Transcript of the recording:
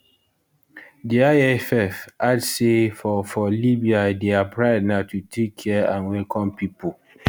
di lff add say for for libya dia pride na to take care and welcome pipo